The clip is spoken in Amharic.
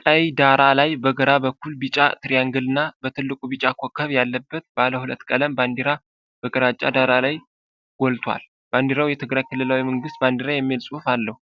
ቀይ ዳራ ላይ በግራ በኩል ቢጫ ትሪያንግል እና በትልቁ ቢጫ ኮከብ ያለበት ባለሁለት ቀለም ባንዲራ በግራጫ ዳራ ላይ ጎልቶዋል። ባንዲራው 'የትግራይ ክልላዊ መንግሥት ባንዲራ' የሚል ጽሑፍ አለው።